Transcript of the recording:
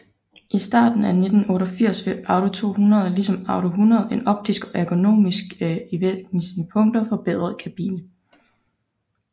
I starten af 1988 fik Audi 200 ligesom Audi 100 en optisk og ergonomisk i væsentlige punkter forbedret kabine